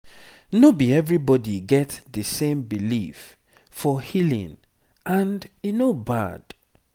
no be everybody get the same belief for healing and e no bad